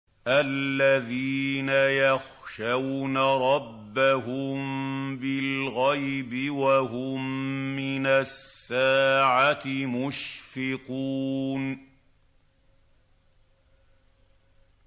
الَّذِينَ يَخْشَوْنَ رَبَّهُم بِالْغَيْبِ وَهُم مِّنَ السَّاعَةِ مُشْفِقُونَ